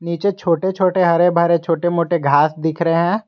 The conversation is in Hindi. नीचे छोटे छोटे हरे भरे छोटे मोटे घास दिख रहे हैं।